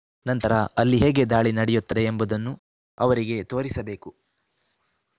ನಂತರ ಅಲ್ಲಿ ಹೇಗೆ ದಾಳಿ ನಡೆಯುತ್ತದೆ ಎಂಬುದನ್ನು ಅವರಿಗೆ ತೋರಿಸಬೇಕು